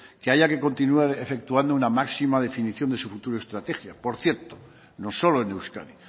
que haya que continuar efectuando una máxima definición de su futura estrategia por cierto no solo en euskadi